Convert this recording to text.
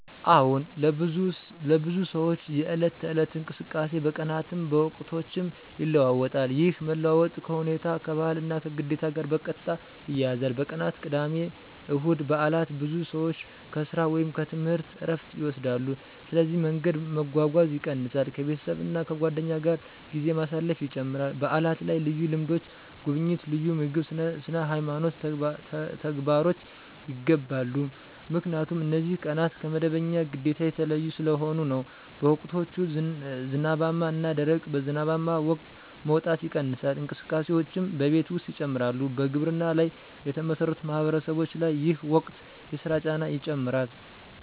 አዎን፣ ለብዙ ሰዎች የዕለት ተዕለት እንቅስቃሴ በቀናትም በወቅቶችም ይለዋዋጣል። ይህ መለዋወጥ ከሁኔታ፣ ከባህል እና ከግዴታ ጋር በቀጥታ ይያያዛል። በቀናት (ቅዳሜ፣ እሁድ፣ በዓላት): ብዙ ሰዎች ከሥራ ወይም ከትምህርት ዕረፍት ይወስዳሉ፣ ስለዚህ መንገድ መጓጓዝ ይቀንሳል ከቤተሰብ እና ከጓደኞች ጋር ጊዜ ማሳለፍ ይጨምራል በዓላት ላይ ልዩ ልምዶች (ጉብኝት፣ ልዩ ምግብ፣ ስነ-ሃይማኖት ተግባሮች) ይገባሉ 👉 ምክንያቱም እነዚህ ቀናት ከመደበኛ ግዴታ የተለዩ ስለሆኑ ነው። በወቅቶች (ዝናባማ እና ደረቅ): በዝናባማ ወቅት መውጣት ይቀንሳል፣ እንቅስቃሴዎችም በቤት ውስጥ ይጨምራሉ በግብርና ላይ የተመሠረቱ ማህበረሰቦች ላይ ይህ ወቅት የሥራ ጫና ይጨምራል